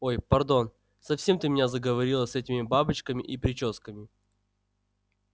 ой пардон совсем ты меня заговорила с этими бабочками и причёсками